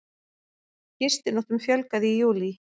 Gistinóttum fjölgaði í júlí